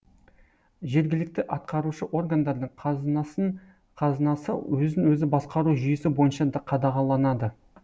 жергілікті атқарушы органдардың қазынасы өзін өзі басқару жүйесі бойынша қадағаланады